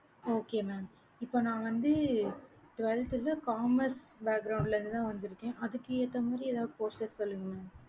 okay mam இப்ப நான் வந்து twelfth க்கு commerce இருந்து தான் அதுக்கு ஏத்த மாறி courses சொல்லுங்க mam